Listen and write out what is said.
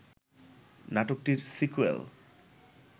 নাটকটির সিক্যুয়াল